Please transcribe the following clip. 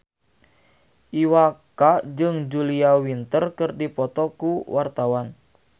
Iwa K jeung Julia Winter keur dipoto ku wartawan